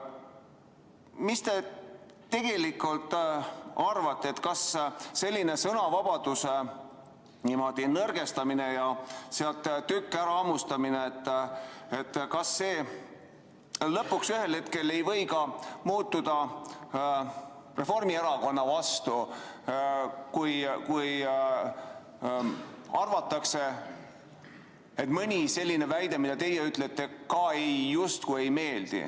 Mida te tegelikult arvate, kas selline sõnavabaduse nõrgestamine ja sealt tüki küljest hammustamine ei või ühel hetkel Reformierakonnale vastulööki anda, kui leitakse, et mõni teie väide ka justkui ei meeldi?